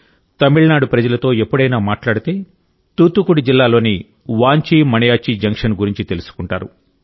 తమిళనాడు ప్రజలతో ఎప్పుడైనా మాట్లాడితే తూత్తుకుడి జిల్లాలోని వాంచీ మణియాచ్చీ జంక్షన్ గురించి తెలుసుకుంటారు